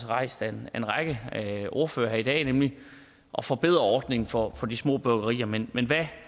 rejst af en række ordførere her i dag nemlig at forbedre ordningen for de små bryggerier men men hvad